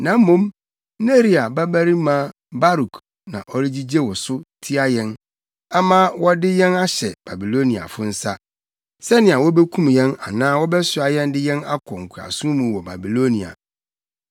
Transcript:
Na mmom Neria babarima Baruk na ɔregyigye wo so tia yɛn ama wɔde yɛn ahyɛ Babiloniafo nsa, sɛnea wobekum yɛn anaa wɔbɛsoa yɛn de yɛn akɔ nkoasom mu wɔ Babilonia.”